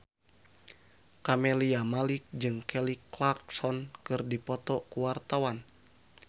Camelia Malik jeung Kelly Clarkson keur dipoto ku wartawan